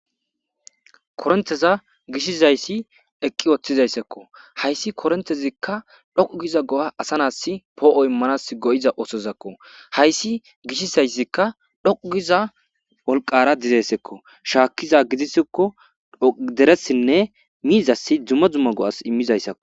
koronteza gishizayssi eqqi ooththizayssekko hayssi korontezikka dhoqugiza go7a asa nas poo7o immanas go7iza oosozakko hayssi gishizayssikka dhoqugiza wolqara dizeessekko shaakkiza gidisikko deressinne miizasi dzuma dzumma go7as immizayssakko